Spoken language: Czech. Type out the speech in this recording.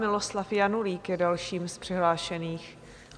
Miloslav Janulík je dalším z přihlášených.